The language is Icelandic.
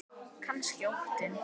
Kannski óttinn.